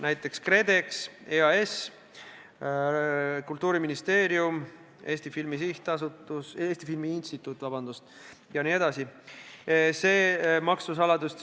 Need on KredEx, EAS, Kultuuriministeerium, Eesti Filmi Instituut jt.